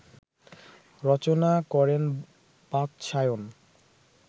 রচনা করেন বাৎসায়ন